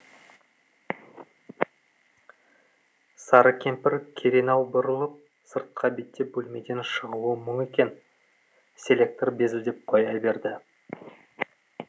сары кемпір керенау бұрылып сыртқа беттеп бөлмеден шығуы мұң екен селектор безілдеп қоя берді